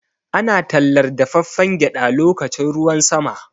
Ana tallar dafaffen gyaɗa lokacin ruwan sama.